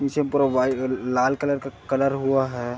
नीचे में पूरा वाइट लाल कलर का कलर हुआ है।